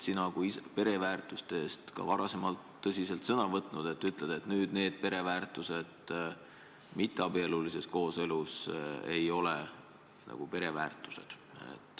Sina kui pereväärtuste eest ka varem sõna võtnud inimene ütled aga, et need pereväärtused mitteabielulises kooselus ei ole nagu pereväärtused.